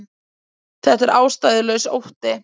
Þetta er ástæðulaus ótti